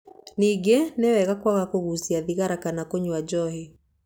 Ningĩ nĩ wega kwaga kũgucia thigara kana kũnyua njohi.